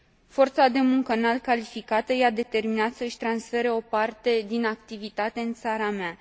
Forța de muncă înalt calificată i a determinat să și transfere o parte din activitate în țara mea.